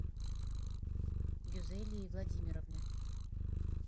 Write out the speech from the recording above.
гюзелии владимировны